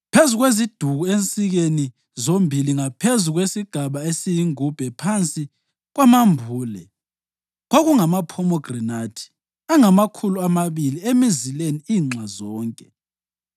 Phezu kweziduku ensikeni zombili, ngaphezu kwesigaba esiyingubhe phansi kwamambule, kungamaphomegranathi angamakhulu amabili emizileni inxa zonke.